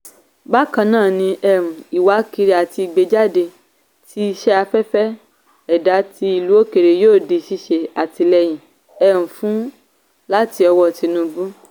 bákan náà um ìwákiri àti ìgbéjáde ti iṣẹ́ afẹ́fẹ́ ẹ̀dá ti ìlú òkèèrè yóò di ṣíṣe àtìlẹyìn um fún láti ọwọ́ tinubu.